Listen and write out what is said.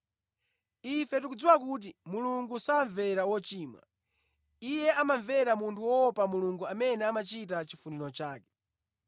Ife tikudziwa kuti Mulungu samvera wochimwa. Iye amamvera munthu woopa Mulungu amene amachita chifuniro chake.